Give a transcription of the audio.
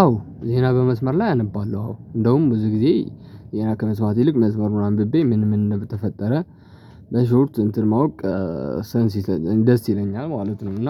አዎ ዜና በመስመር ላይ አነባለሁ አዎ እንደውም ብዙ ጊዜ ዜና ከመስማት ይልቅ መስመሩን አንብቤ ምን ምን እንደተፈጠረ በሾርት እንትን ማወቅ ሰንስ ደስ ይለኛል ማለት ነው። እና